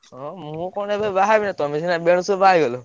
ହଁ ମୁଁ କଣ ଏବେ ବାହା ହେବି ନାଁ ତମେ ସିନା ବେଳସୁ ବାହା ହେଇଗଲ।